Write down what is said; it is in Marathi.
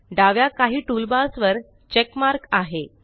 डाव्या काही टूलबार्स वर चेक मार्क आहे